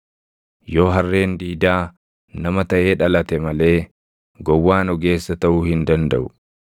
Yoo harreen diidaa nama taʼee dhalate malee gowwaan ogeessa taʼuu hin dandaʼu.